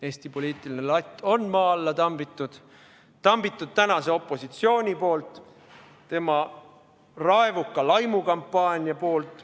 Eesti poliitiline latt on maa alla tambitud, tambitud tänase opositsiooni poolt, tema raevuka laimukampaania poolt.